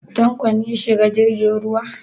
Tanko ne ya shiga jirgin ruwa?